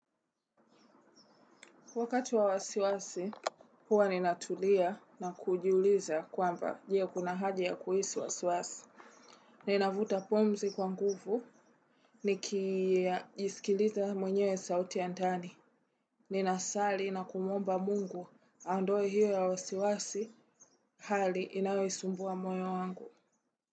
Wakati wa wasiwasi, huwa ninatulia na kujiuliza kwamba je, kuna haja ya kuhisi wasiwasi. Ninavuta pumzi kwa nguvu, nikijisikiliza mwenyewe sauti ya ndani. Ninasali na kumuomba Mungu aondoe hiyo ya wasiwasi hali inayoisumbua moyo wangu.